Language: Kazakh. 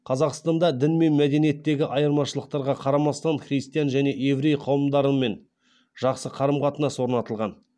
қазақстанда дін мен мәдениеттегі айырмашылықтарға қарамастан христиан және еврей қауымдарымен жақсы қарым қатынас орнатылған